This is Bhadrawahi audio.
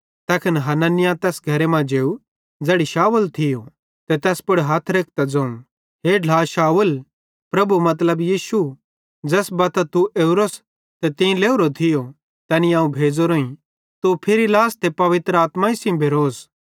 तैखन हनन्याह तैस घरे मां जेव ज़ैड़ी शाऊल थियो ते तैस पुड़ हथ रेखतां ज़ोवं हे ढ्ला शाऊल प्रभु मतलब यीशु ज़ैस बत्तां तू ओरोस ते तीं लेइहोरो थियो तैनी अवं भेज़ोरोईं कि तू फिरी लास ते पवित्र आत्माई सेइं भेरोस